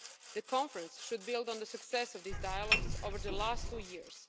The Conference should build on the success of these dialogues over the last two years.